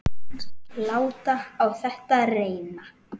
Láta á þetta reyna.